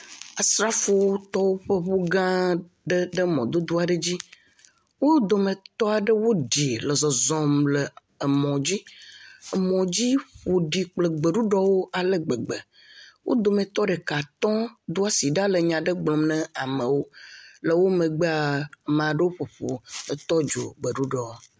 asrafowo tɔ wóƒe ʋu gã aɖe ɖe mɔdodo aɖe dzi wó dometɔ ɖewo ɖi le zɔzɔm emɔ, emɔ dzi ƒoɖi kple gbeɖuɖɔwo ale gbegbe wó dometɔ ɖeka tɔ doasi ɖa nyaɖe gblɔm ne amewo le wo megbea maɖewo ƒoƒu e tɔdzo gbeɖuɖuɔ